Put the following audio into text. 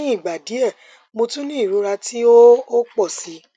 lẹhin igba diẹ mo tun ni irora ti o o pọ si